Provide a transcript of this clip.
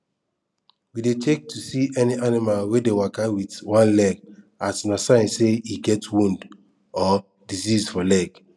we dey check to see any animal wey dey waka wit one leg as na sign say e get wound or disease for leg